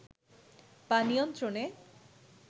বা নিয়ন্ত্রণে